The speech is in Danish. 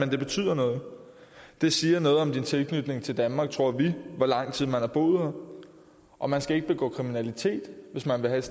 det betyder noget det siger noget om din tilknytning til danmark tror vi hvor lang tid man har boet her og man skal ikke begå kriminalitet hvis man vil have